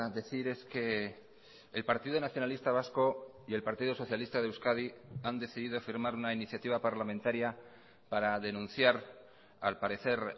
decir es que el partido nacionalista vasco y el partido socialista de euskadi han decidido firmar una iniciativa parlamentaria para denunciar al parecer